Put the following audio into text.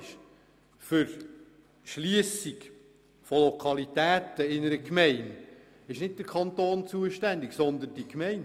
Für die Schliessung von Lokalitäten in einer Gemeinde ist nicht der Kanton zuständig, sondern die Gemeinde.